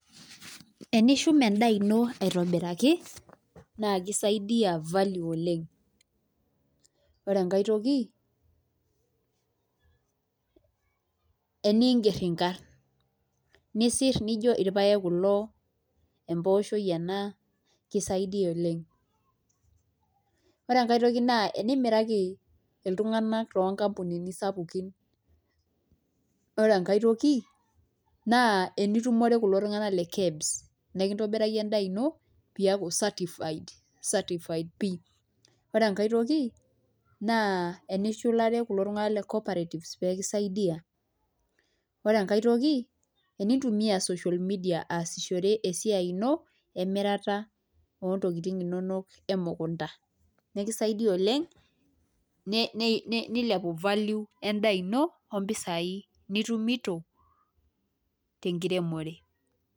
Enishum endaa ino aitobiraki naake isaidia value oleng'. Ore enkae toki eniing'er inkarn nisir nijo irpaek kulo, empooshoi ena, kisaidia oleng'. Ore enkae toki naa enimiraki iltung'anak too nkampunini sapukin, ore enkae toki naa enitumore kulo tung'anak le KEBS nekintobiraki endaa ino piiyaku certified certified pii. Ore enkae toki naa enishulare kulo tung'anak le cooperatives pee kisaidia, ore enkae toki enintumia social media aasishore esiai ino emirata oo ntokitin inonok emukunda nekisaidia oleng' ne ne nilepu value endaa ino o mpisai nitumito te nkiremore.